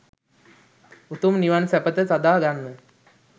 උතුම් නිවන් සැපත සාදා ගන්න.